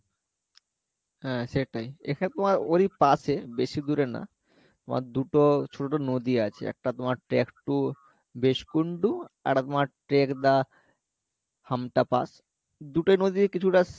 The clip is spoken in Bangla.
হ্যাঁ সেইটাই এখানে তোমার ওরই পাশে বেশি দূরে না তোমার দুটো ছোটো নদী আছে একটা তোমার track to বেস্কুণ্ড আরেকটা তোমার track the হামটা pass দুটোই নদীর কিছুটা